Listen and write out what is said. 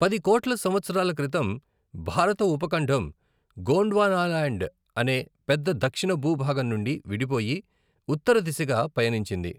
పది కోట్ల సంవత్సరాల క్రితం, భారత ఉపఖండం గోండ్వానాల్యాండ్ అనే పెద్ద, దక్షిణ భూభాగం నుండి విడిపోయి ఉత్తర దిశగా పయనించింది.